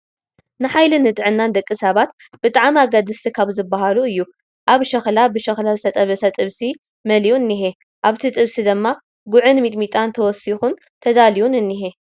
ምግቢ፡- ንሓይልን ንጥዕናን ደቂ ሰባት ብጣዕሚ ኣገደስቲ ካብ ዝባሃሉ እዩ፡፡ ኣብ ሸኽላ ብሸኽላ ዝተጠበሰ ጥብሲ መሊኡ እኒሀ፡፡ ኣብቲ ጥብሲ ድማ ጉዕን ሚጥሚጣን ተወሲኹን ተዳልዩን እኒሀ፡፡